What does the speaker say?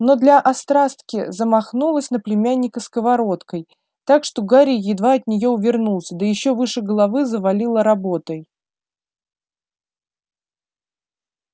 но для острастки замахнулась на племянника сковородкой так что гарри едва от неё увернулся да ещё выше головы завалила работой